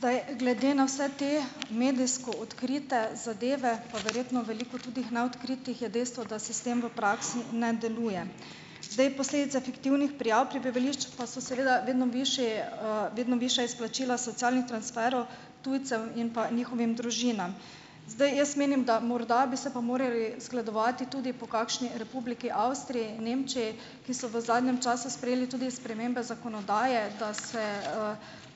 Zdaj, glede na vse te medijsko odkrite zadeve, pa verjetno veliko tudi neodkritih, je dejstvo, da sistem v praksi ne deluje. Zdaj, posledica fiktivnih prijav prebivališč pa so seveda vedno višji, vedno višja izplačila socialnih transferov tujcev in pa njihovim družinam. Zdaj, jaz menim, da morda bi se pa morali zgledovati tudi po kakšni Republiki Avstriji, Nemčiji, ki so v zadnjem času sprejeli tudi spremembe zakonodaje, da se,